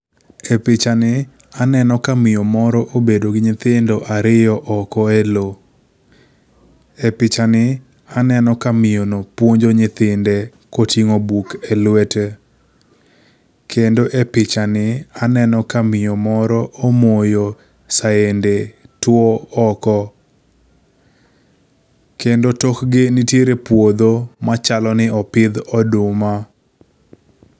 Epichani aneno ka miyo moro obedo gi nyithindo ariyo oko elowo. E pichani aneno ka miyono puonjo nyithinde koting'o buk elwete. Kendo e pichani aneno ka miyo moro omoyo sende tuo oko. Kendo tokgi, nitiere puodho machalo ni opidh oduma.